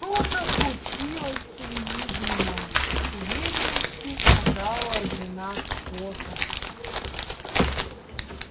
что-то случилось с уиднином с уверенностью сказала жена скотта